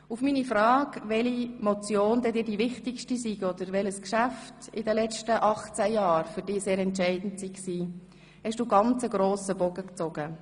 Auf meine Frage hin, welche Motion oder welches Geschäft für dich in den letzten 18 Jahren am wichtigsten war, hast du einen sehr grossen Bogen gezogen.